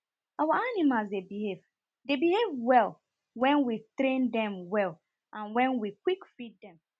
our animals dey behave dey behave well wen we treat dem well and wen we quick feed dem